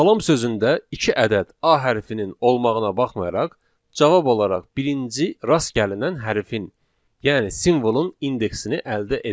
Salam sözündə iki ədəd A hərfinin olmağına baxmayaraq cavab olaraq birinci rast gəlinən hərfin, yəni simvolun indeksini əldə edəcəyik.